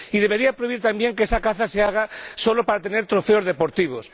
Y debería prohibir también que esa caza se haga solo para tener trofeos deportivos.